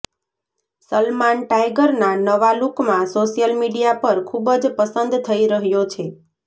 સલમાન ટાઇગરના નવા લુકમાં સોશિયલ મીડિયા પર ખૂબ જ પસંદ થઇ રહ્યો છે